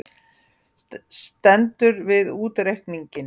Stendur við útreikninginn